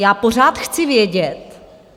Já pořád chci vědět...